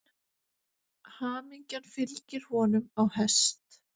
Hamingjan fylgir honum á hest.